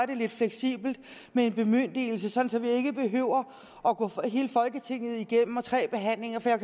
det lidt fleksibelt med en bemyndigelse sådan at vi ikke behøver at gå hele folketinget igennem med tre behandlinger for jeg